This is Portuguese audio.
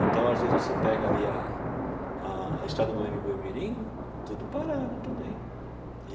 Então, às vezes, você pega ali a a estrada do Eme Boi Mirim, tudo parado também.